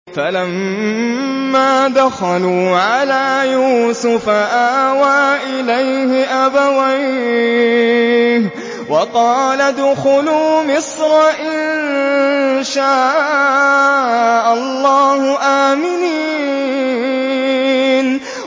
فَلَمَّا دَخَلُوا عَلَىٰ يُوسُفَ آوَىٰ إِلَيْهِ أَبَوَيْهِ وَقَالَ ادْخُلُوا مِصْرَ إِن شَاءَ اللَّهُ آمِنِينَ